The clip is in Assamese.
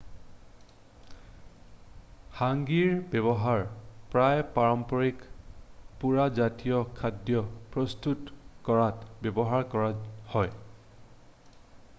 হাংগীৰ ব্যৱহাৰ প্ৰায়ে পাৰম্পৰিক পুৰা জাতীয় খাদ্য প্ৰস্তুত কৰাত ব্যৱহাৰ কৰা হয়